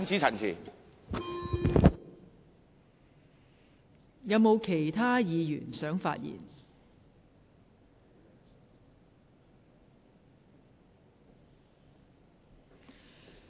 是否有其他議員想發言？